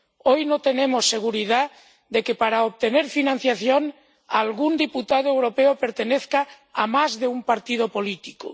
Hoy no tenemos seguridad sobre si, para obtener financiación, algún diputado europeo pertenece a más de un partido político.